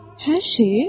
Hər şeyi?